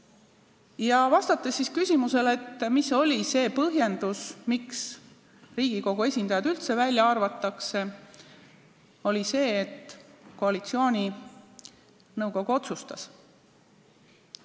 Ja vastus küsimusele, mis põhjendusega Riigikogu esindajad üldse välja tahetakse arvata, oli see, et koalitsiooni nõukogu otsustas.